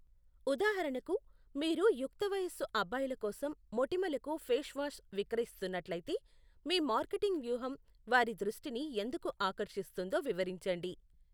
ఉదాహరణకు, మీరు యుక్తవయసు అబ్బాయిల కోసం మొటిమలకు ఫేస్ వాష్ విక్రయిస్తున్నట్లయితే, మీ మార్కెటింగ్ వ్యూహం వారి దృష్టిని ఎందుకు ఆకర్షిస్తుందో వివరించండి.